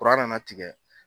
nana tigɛ.